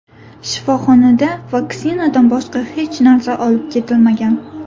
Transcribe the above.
Shifoxonada vaksinadan boshqa hech narsa olib ketilmagan.